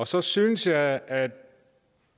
så synes jeg at